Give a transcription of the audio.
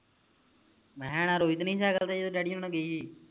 ਮੈਂ ਆਹ ਇੰਨਾ ਰੋਈ ਤੇ ਨੀ ਸਾਈਕਲ ਤੇ ਜਦੋਂ daddy ਹੋਣਾ ਗਈ ਹੀ